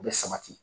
U bɛ sabati